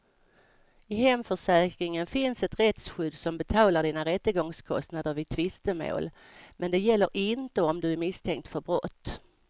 I hemförsäkringen finns ett rättsskydd som betalar dina rättegångskostnader vid tvistemål, men det gäller inte om du är misstänkt för brott.